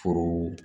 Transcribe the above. Foro